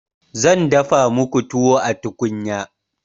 zan dafa muku tuwo a tukunya